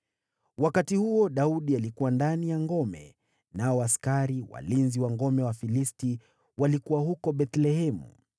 Wakati huo Daudi alikuwa katika ngome, na kambi ya Wafilisti ilikuwa huko Bethlehemu.